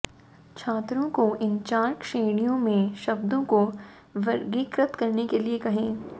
छात्रों को इन चार श्रेणियों में शब्दों को वर्गीकृत करने के लिए कहें